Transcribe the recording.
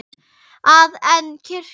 að en kirkju.